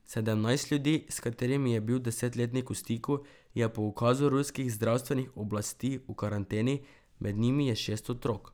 Sedemnajst ljudi, s katerimi je bil desetletnik v stiku, je po ukazu ruskih zdravstvenih oblasti v karanteni, med njimi je šest otrok.